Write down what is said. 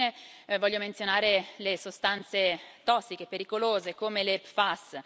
Infine voglio menzionare le sostanze tossiche e pericolose come le PFAS.